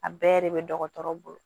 A bɛɛ de bɛ dɔgɔtɔrɔ bolo